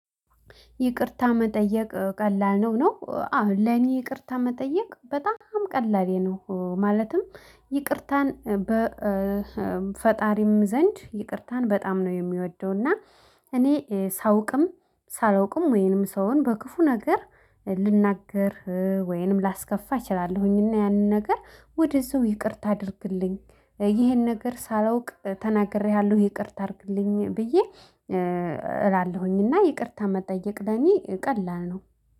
ይቅርታ መጠየቅ ቀላል ነው ነው አዎን ለኔ ይቅርታ መጠየቅ በጣም ቀላሌ ነው። ማለትም ይቅርታን በፈጣሪም ዘንድ ይቅርታን በጣም ነው የሚወደው። እና እኔ ሳውቅም ሳላውቅም ወይንም ሰውን በክፉ ነገር ልናገር ወይንም ላስከፋ እችላለሁኝ። እና ያንን ነገር ወደ እዛው ይቅርታ አድርግልኝ ይሄን ነገር ሳላውቅ ተናግሬሃለሁ። ይቅርታ አድርግልኝ ብዬ እላለሁኝና ይቅርታ መጠየቅ ለኔ ቀላል ነው